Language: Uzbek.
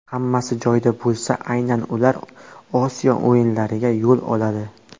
Hammasi joyida bo‘lsa, aynan ular Osiyo o‘yinlariga yo‘l oladi.